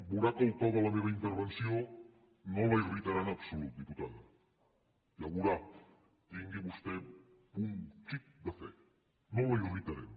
veurà que el to de la meva intervenció no la irritarà en absolut diputada ja ho veurà tingui vostè un xic de fe no la irritarem